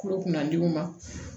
Kolo kunnadenw ma